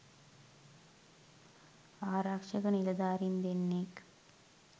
ආරක්ෂක නිලධාරීන් දෙන්නෙක්